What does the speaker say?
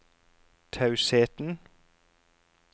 tausheten